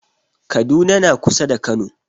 Kaduna na kusa da kano